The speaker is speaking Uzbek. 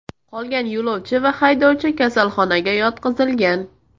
Qolgan yo‘lovchi va haydovchi kasalxonaga yotqizilgan.